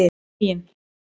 Huginn